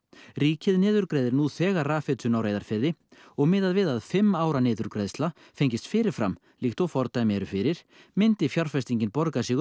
ríkið niðurgreiðir nú þegar rafhitun á Reyðarfirði og miðað við að fimm ára niðurgreiðsla fengist fyrir fram líkt og fordæmi eru fyrir myndi fjárfestingin borga sig upp